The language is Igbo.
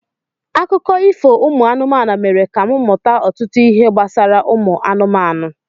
Akụkọ ifo ụmụ anụmanụ mere ka m mmụta ọtụtụ ihe gbasara ụmụ anụmanụ.